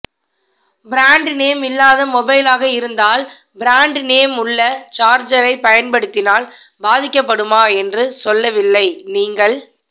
brand name இல்லாத மொபைலாக இருந்தால் பிராண்ட் நேம் உள்ள சார்ஜரை பயன்படித்தினால் பாதிக்கப்படுமா என்று சொல்லவில்லை நீங்கள்